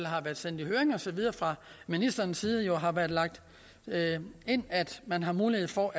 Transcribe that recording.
har været sendt i høring og så videre fra ministerens side har været lagt ind at man har mulighed for